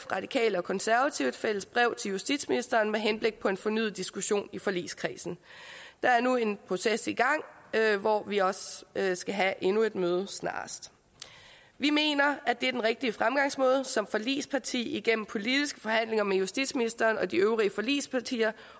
radikale og konservative et fælles brev til justitsministeren med henblik på en fornyet diskussion i forligskredsen der er nu en proces i gang hvor vi også skal have endnu et møde snarest vi mener at det er den rigtige fremgangsmåde som forligsparti igennem politiske forhandlinger med justitsministeren og de øvrige forligspartier